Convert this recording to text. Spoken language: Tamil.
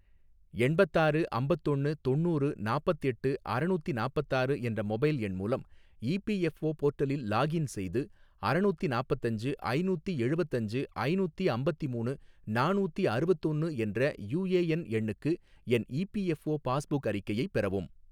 எண்பத்தாறு அம்பத்தொன்னு தொண்ணூறு நாப்பத்தெட்டு அறநூத்தி நாப்பத்தாறு என்ற மொபைல் எண் மூலம் இ பி எஃ ஓ போர்ட்டலில் லாக்இன் செய்து, அறநூத்தி நாப்பத்தஞ்சு ஐநூத்தி எழுவத்தஞ்சு ஐநூத்தி அம்பத்திமூணு நானூத்தி அறுவத்தொன்னு என்ற யூ ஏ என் எண்ணுக்கு என் E P F O passbook அறிக்கையை பெறவும்